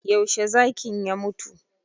Yaushe zakin ya mutu?